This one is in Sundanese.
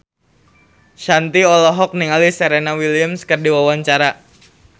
Shanti olohok ningali Serena Williams keur diwawancara